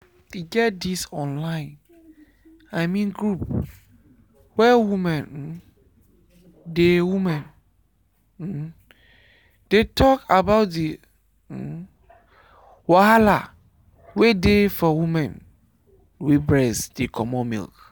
e get this online i mean group where women um dey women um dey talk about the um wahala wey dey for women wey breast dey comot milk.